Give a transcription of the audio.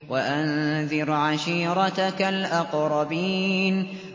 وَأَنذِرْ عَشِيرَتَكَ الْأَقْرَبِينَ